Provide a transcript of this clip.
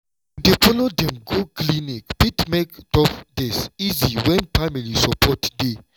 to dey follow dem go clinic fit make tough days easy when family support dey.